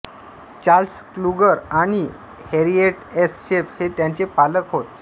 Charles Kluger आणि Harriet S Sheff हे त्यांचे पालक होत